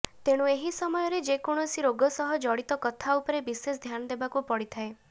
ତେଣୁ ଏହି ସମୟରେ ଯେକୌଣସି ରୋଗ ସହ ଜଡ଼ିତ କଥା ଉପରେ ବିଶେଷ ଧ୍ୟାନ ଦେବାକୁ ପଡ଼ିଥାଏ